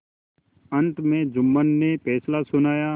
अंत में जुम्मन ने फैसला सुनाया